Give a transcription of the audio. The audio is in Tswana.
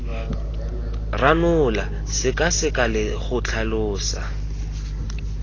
ranola sekaseka le go tlhalosa